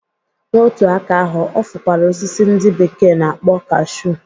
N'otu aka ahụ, ọ fụkwara osisi ndị bekee na-akpo kaashu.